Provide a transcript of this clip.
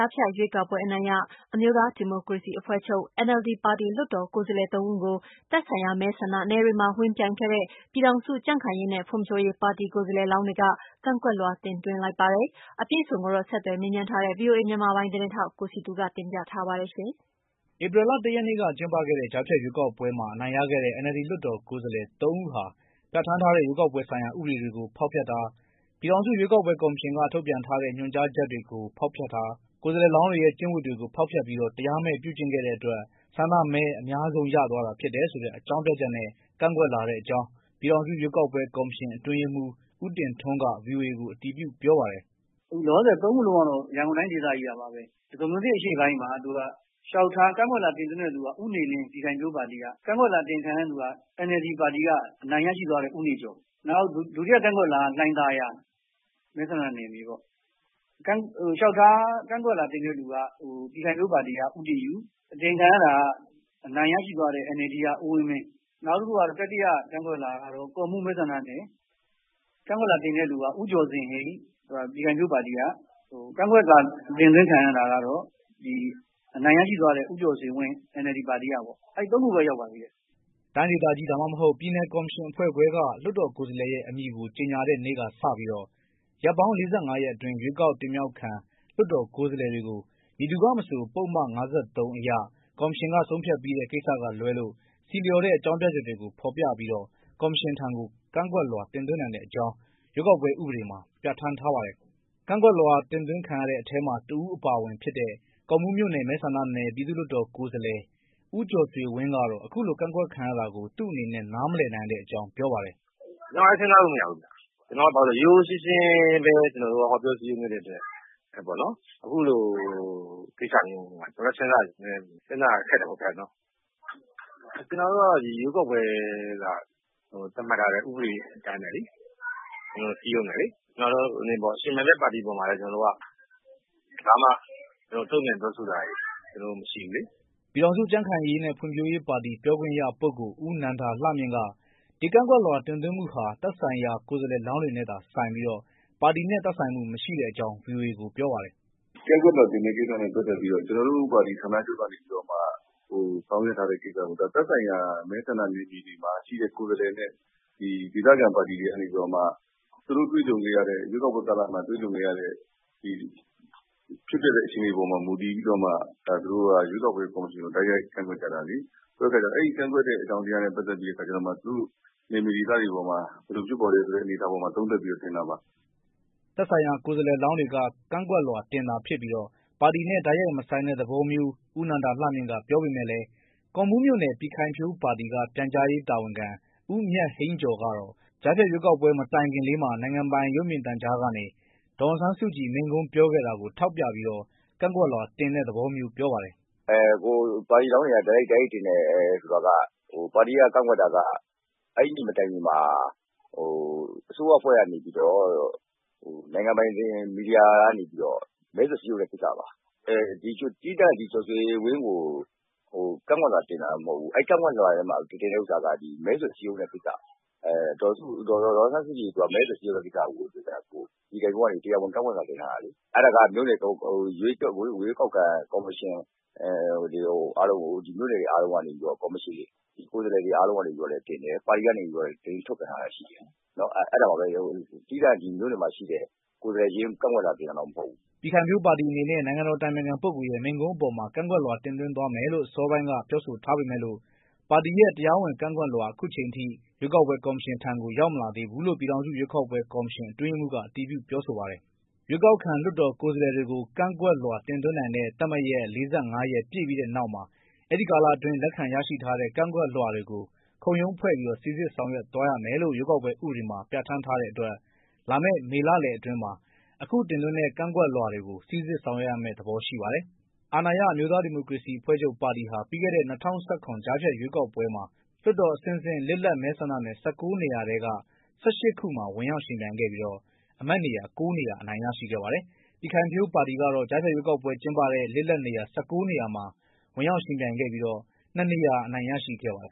ားဖြတ်ရွေးကောက်ပွဲ အနိုင်ရ အမျိုးသားဒီမိုကရေစီအဖွဲ့ချုပ် NLD ပါတီ လွှတ်တော်ကိုယ်စားလှယ် ၃ ဦးကို သက်ဆိုင် ရာ မဲဆန္ဒနယ်တွေမှာ ဝင်ပြိုင်ခဲ့တဲ့ပြည်ထောင်စု ကြံခိုင်ရေးနဲ့ဖွံဖြိုးရေး ပြည်ခိုင်ဖြိုးပါတီ ကိုယ်စားလှယ်လောင်းတွေက ကန့်ကွက် လွှာတင်သွင်းလိုက်ပါတယ်။ အပြည့်အစုံကိုတော့ ဆက်သွယ်မေးမြန်းထားတဲ့ ဗွီအိုအေမြန်မာပိုင်း သတင်းထောက် ကိုစည်သူကတင်ပြပေးမှာပါ။ ဧပြီလ ၁ ရက်နေ့က ကျင်းပခဲ့တဲ့ ကြားဖြတ်ရွေးကောက်ပွဲမှာ အနိုင်ရခဲ့တဲ့ NLD လွှတ်တော်ကိုယ်စားလှယ် ၃ ဦးဟာပြဌာန်းထား တဲ့ ရွေးကောက်ပွဲဆိုင်ရာ ဥပဒေတွေကို ဖောက်ဖျက်တယ်၊ ပြည်ထောင်စုရွေးကောက်ပွဲကော်မရှင်က ထုတ်ပြန်ထားတဲ့ ညွှန်ကြား ချက်တွေကို ဖောက်ဖျက်တယ်၊ ကိုယ်စားလှယ်လောင်းတွေရဲ့ ကျင့်ဝတ်ကိုလဲ ဖောက်ဖျက်ပြီးတော့ တရားမဲ့ပြုကျင့်တဲ့အတွက် ဆန္ဒမဲအများဆုံး ရသွားတာဖြစ်တယ်လို့ အကြောင်းပြပြီးတော့ ကန့်ကွက်ထားတဲ့အကြောင်း ပြည်ထောင်စု ရွေးကောက်ပွဲ ကော်မရှင် အတွင်းရေးမှုး ဦးတင်ထွန်းက ဗွီအိုအေကို အတည်ပြု ပြောပါတယ်။ “အခုလောလောဆည် ၃ ဦးကတော့ ရန်ကုန်တိုင်းဒေသကြီးကပါ။ ဒဂုံမြို့သစ်အရှေ့ပိုင်းမှာ ကန့်ကွက်လွှာတင်သွင်းတာက ဦးနေလင်း ပြည်ခိုင်ဖြိုးပါတီက ၊ ကန့်ကွက်လွှာ အတင်ခံရသူကတော့ NLD ပါတီက အနိုင်ရရှိသွားတဲ့ ဦးနေကျော်။ နောက်ဒုတိယ ကန့်ကွက်လွှာက လှိုင်သာယာ မဲဆန္ဒနယ်မြေပေါ့ ကန့်ကွက်လွှာတင်သွင်းတာက ပြည်ခိုင်ဖြိုးပါတီက ဦးတင်ယု၊ အတင်ခံရသူကတော့ အနိုင်ရရှိသွားတဲ့ NLD ပါတီက ဦးဝင်းမင်း။ နောက်တတိယ ကန့်ကွက်လွှာက ကော့မှူးမဲဆန္ဒနယ် ကန့်ကွက်လွှာတင်သွင်းတာက ဦးကျော်ဇင်ဟိန်း ပြည်ခိုင်ဖြိုးပါတီက ၊ နောက် ကန့်ကွက်လွှာ အတင်ခံရသူကတော့ အနိုင်ရရှိသွားတဲ့ ဦးကျော်ဇင်ဝင်း NLD ပါတီကပေါ့ အဲဒီ ၃ ခုပဲ ရောက်ပါသေးတယ်။” တိုင်းဒေသကြီး ဒါမှမဟုတ် ပြည်နယ် ကော်မရှင်အဖွဲ့ခွဲက လွှတ်တော်ကိုယ်စားလှယ်ရဲ့ အမည်ကို ကြောညာတဲ့နေ့ကစပြီး ရက်ပေါင်း ၄၅ ရက်အတွင်း ရွေးကောက်တင်မြှောက်ခံ လွတ်တော်ကိုယ်စားလှယ်တွေကို မည်သူကမဆို ပုဒ်မ ၅၃ အရ ကော်မရှင်က ဆုံးဖြတ်ပြီးတဲ့ ကိစ္စက လွဲလို့ ဆီလျော်တဲ့ အကြောင်းပြချက်တွေ ကို ဖော်ပြပြီး ကော်မရှင်ထံ ကန့်ကွက်လွှာတင်သွင်းနိုင်တဲ့အကြောင်း ဥပဒေမှာ ပြဌာန်း ထားပါတယ်။ ကန့်ကွက်လွှာ တင်သွင်းခံရတဲ့ထဲမှာ တဦးအပါအဝင်ဖြစ်တဲ့ ကော့မှုးမြို့နယ်မဲဆန္ဒနယ် ပြည်သူ့လွှတ်တော်ကိုယ်စားလှယ် ဦးကျော်ဆွေဝင်းကတော့ အခုလို ကန့်ကွက်ခံရတာကို သူ့အနေနဲ့ နားမလည်နိုင်တဲ့အကြောင်း ပြောပါတယ်။ “ကျနော်လည်း စဉ်းစားလို့မရဘူးခင်ဗျ ကျနော်က ရိုးရိုးရှင်းရှင်းပဲ ကျနေ်ာတို့က ဟောပြောစည်းရုံးခဲ့တဲ့အတွက် အခုလိုကိစ္စမျိုးပေါ်မှာ ကျနေ်ာလည်း စဉ်းစားရ ခက်တယ်ပေါ့နော်။ ကျနေ်ာတို့ကတော့ ဒီရွေးကောက်ပွဲမှာ သတ်မှတ်ထားတဲ့ ဥပဒေတွေအတိုင်းပဲ ကျနေ်ာတို့ စည်းရုံးတယ်လေ။ ယှဉ်ပြိုင်တဲ့ ပါတီအပေါ်မှာလည်း ကျနေ်ာတို့ ဘာမှ တုံ့ပြန်ပြောဆိုတာတွေ မရှိဘူးလေ။” ပြည်ထောင်စု ကြံခိုင်ဖွံဖြိုးရေး ပါတီ ပြောခွင့်ရ ပုဂ္ဂိုလ် ဦးနန္ဒာလှမြင့်က ဒီကန့်ကွက်လွှာ တင်သွင်းမှုဟာ သက်ဆိုင်ရာ ကိုယ်စားလှယ်လောင်းတွေနဲ့သာဆိုင်ပြီး ပါတီနဲ့ သက်ဆိုင်မှု မရှိတဲ့အကြောင်း ဗွီအိုအေကို ပြောပါတယ်။ “ကန့်ကွက်လွှာတင်တာနဲ့ ပတ်သက်ပြီးတော့ ကျနေ်ာတို့ပါတီ ဌာနချုပ်ကနေပြီးတော့မှ ဆောင်ရွက်ထားတဲ့ ကိစ္စမဟုတ်ဘူး။ သက်ဆိုင်ရာ မဲဆန္ဒနယ်မှာ ရှိတဲ့ ကိုယ်စားလှယ်နဲ့ ဒေသခံပါတီ တွေကနေပြီးတော့မှ သူတို့ရွေးကောက်ပွဲကာလမှာ တွေ့ကြုံခဲ့ရတဲ့ အခြေအနေပေါ်မှာ မူတည်ပြီးတော့မှ ရွေးကောက်ပွဲကော်မရှင်ကို တိုက်ရိုက်ကန့်ကွက်ကြတာလေ။ အဲဒီကန့်ကွက်တဲ့အကြောင်းတွေနဲ့ ပတ်သက်ပြီးတော့ သူတို့နယ်မြေဒေသတွေပေါ်မှာ ဘယ်လိုဖြစ်ပေါ်တယ်ဆိုပြီးတော့မှ ဒီအပေါ်မှာသုံးသပ်ပြီးတော့ တင်တာပါ။” သက်ဆိုင်ရာ ကိုယ်စားလှယ်လောင်းတွေက ကန့်ကွက်လွှာတင်တာဖြစ်ပြီး ပါတီနဲ့ တိုက်ရိုက်မဆိုင်တဲ့သဘောမျိုး ဦးနန္ဒာလှမြင့်က ပြောပေမဲ့လဲ ကော့မှုး မြို့နယ် ပြည်ခိုင်ဖြိုး ပါတီက ပြန်ကြားရေး တာဝန်ခံ ဦးမြတ်ဟိန်းကျော်ကတော့ ကြားဖြတ်ရွေးကောက်ပွဲ မတိုင်ခင်လေးမှာ နိုင်ငံပိုင် ရုပ်မြင်သံကြားကနေ ဒေါ်အောင်ဆန်းစုကြည် မိန့်ခွန်းပြောခဲ့ တာကိုထောက်ပြပြီးတော့ ကန့်ကွက်လွှာတင်တဲ့သဘောမျိုး ပြောပါတယ်။ “ကိုယ်စားလှယ်လောင်းတွေက တိုက်ရိုက်တင်တယ်ဆိုတာက ပါတီက ကန့်ကွက်တာက အဲဒီနေ့မတိုင်ခင်မှာ အစိုးရအဖွဲ့ကနေပြီးတော့ နိုင်ငံပိုင်မီဒီယာကနေပြီးတော့ မဲဆွယ်စည်းရုံးမှု လုပ်တာပါ။ သီးသန့် ဦးကျော်ဆွေဝင်းကို ကန့်ကွက်လွှာတင်တာတော့မဟုတ်ဘူး။ ကန့်ကွက်လွှာထဲမှာ တင်တဲ့ဟာက မဲဆွယ်စည်းရုံးရေးလုပ်တဲ့ ကိစ္စပါ။ ဒေါ်အောင်ဆန်းစုကြည်ကိုယ်တိုင် မဲဆွယ်စည်းရုံးတဲ့ ကိစ္စကို ပြည်ခိုင်ဖြိုးပါတီကနေ တရားဝင် ကန့်ကွက်လွှာတင်ထားတာလေ။ အဲဒါက မြို့နယ်ရွေးကောက်ခံ ကော်မရှင်အားလုံးကို မြို့နယ်ကိုယ်စားလှယ်တွေအားလုံးကနေလည်း တင်တယ်။ ပါတီကနေလည်း သတင်းထုတ်ပြန်တာတွေရှိတယ်။ အဲဒါပါပဲ သီးသန့် မြို့နယ်မှာရှိတဲ့ ကိုယ်စားလှယ်တွေကို ကန့်ကွက်လွှာတင်တာမဟုတ်ပါဘူး။” ပြည်ခိုင်ဖြိုးပါတီအနေနဲ့ နိုင်ငံေတော် အတိုင်ပင်ခံ ပုဂ္ဂိုလ်ရဲ့ မိန့်ခွန်းအပေါ်မှာ ကန့်ကွက်လွှာတင်သွင်းသွားမယ်လို့ အစောပိုင်းက ပြောဆိုထားပေမယ့်လို့ ပါတီရဲ့ တရားဝင် ကန့်ကွက်လွှာ လက်ရှိအချိန်ထိ ရွေးကောက်ပွဲ ကော်မရှင်ထံ ရောက်မလာသေးဘူးလို့ ပြည်ထောင်စု ရွေးကောက်ပွဲကော်မရှင် အတွင်းရေးမှုးက အတည်ပြုပြောဆိုပါတယ်။ ရွေးကောက်ခံလွှတ်တော်ကိုယ်စားလှယ်တွေကို ကန့်ကွက်လွှာတင်သွင်းနိုင်တဲ့ သတ်မှတ်ရက် ၄၅ ရက်ပြည့်ပြီးတဲ့နောက်မှာ အဲဒီ ကာလအတွင်း လက်ခံ ရရှိထားတဲ့ ကန့်ကွက်လွှာတွေကို ခုံရုံးဖွဲ့ပြီးတော့ စိစစ်ဆောင်ရွက်သွားရမယ်လို့ ဥပဒေမှာ ပြဌာန်းထားတဲ့ အတွက် လာမယ့်မေလလယ်အတွင်းမှာ အခု ကန့်ကွက်လွှာတွေကို စိစစ်ဆောင်ရွက်ရမယ့်ပုံရှိပါတယ်။ အာဏာရ အမျိုးသား ဒီမိုကရေစီအဖွဲ့ချုပ်ပါတီဟာ ပြီးခဲ့တဲ့ ၂၀၁၇ ကြားဖြတ်ရွေးကောက် ပွဲမှာ လွှတ်တော်အဆင့်ဆင့် လစ်လပ် မဲဆန္ဒနယ် ၁၉ နေရာထဲက ၁၈ ခုမှာ ဝင်ရောက်ယှဉ်ပြိုင်ခဲ့ပြီးတော့ အမတ်နေရာ ၉ နေရာ အနိုင်ရခဲ့ပါတယ်။ ပြည်ခိုင်ဖြိုးပါတီက တော့ ကြားဖြတ် ရွေးကောက်ပွဲကျင်းပတဲ့ လွှတ်တော်အဆင့်ဆင့် လစ်လပ်နေရာ ၁၉ နေရာမှာ ဝင်ရောက်ယှဉ်ပြိုင်ခဲ့ပြီး ၂ နေရာ အနိုင်ရရှိခဲ့ပါတယ်